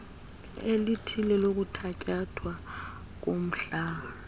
elithile lokuthatyathwa komhlala